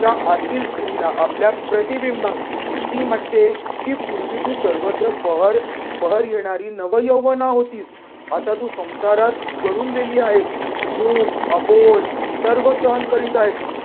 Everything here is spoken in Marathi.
ज्या आतील स्त्रीला आपल्या प्रतिबिंबास ती म्हणते की पूर्वी तू सर्वत्र बहर बहर येणारी नवयौवना होतीस आता तू संसारात गळून गेली आहेस. मूक, अबोल सर्व सहन करीत आहेस.